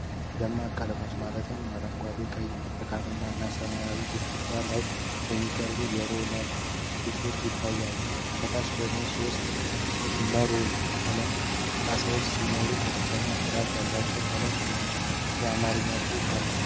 ደማቅ ቀለሞችን ማለትም አረንጓዴ፣ ቀይ፣ ብርቱካንማ እና ሰማያዊን ግድግዳ ላይ የሚቀቡ የሮለር ብሩሾች ይታያሉ። ከታች ደግሞ ሶስት የ"MURAL" ቀለም ጣሳዎች ሲኖሩ "ከፍተኛ ጥራት ያለው ቀለም" የሚል የአማርኛ ጽሑፍ አለ።